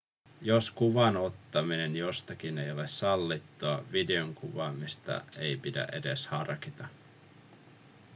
jos kuvan ottaminen jostakin ei ole sallittua videon kuvaamista ei pidä edes harkita